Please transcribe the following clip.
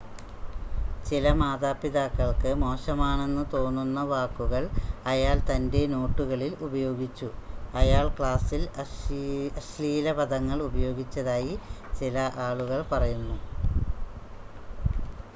ചില മാതാപിതാക്കൾക്ക് മോശമാണെന്ന് തോന്നുന്ന വാക്കുകൾ അയാൾ തൻ്റെ നോട്ടുകളിൽ ഉപയോഗിച്ചു അയാൾ ക്ലാസിൽ അശ്ലീല പദങ്ങൾ ഉപയോഗിച്ചതായി ചില ആളുകൾ പറയുന്നു